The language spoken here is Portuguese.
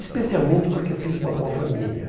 Especialmente porque eu fiz uma boa família.